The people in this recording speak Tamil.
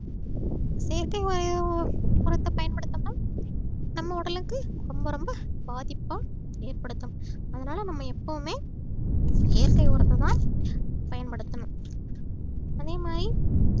செயற்கை உ~உரத்தை பயன்படுத்துறது நம்ம உடலுக்கு ரொம்ப ரொம்ப பாதிப்ப ஏற்படுத்தும் அதனால நம்ம எப்பவுமே இயற்கை உரத்தைதான் பயன்படுத்தணும் அதே மாதிரி